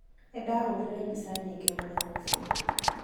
Nĩndahũrire mbica nyingĩ mũthenya ũcio .